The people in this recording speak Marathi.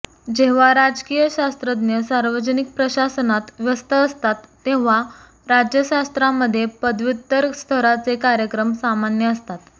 जेव्हा राजकीय शास्त्रज्ञ सार्वजनिक प्रशासनात व्यस्त असतात तेव्हा राज्यशास्त्रामध्ये पदव्युत्तर स्तराचे कार्यक्रम सामान्य असतात